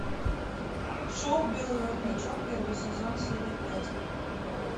шоу белый воротничок первый сезон серия пять